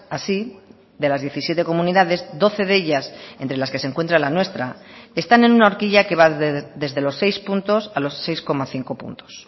así de las diecisiete comunidades doce de ellas entre las que se encuentra la nuestra están en una horquilla que va desde los seis puntos a los seis coma cinco puntos